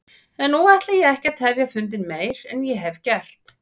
En nú ætla ég ekki að tefja fundinn meir en ég hef gert.